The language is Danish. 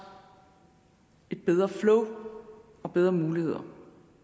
et bedre flow og bedre muligheder